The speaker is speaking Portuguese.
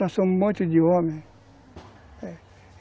Nós somos um monte de homens. É.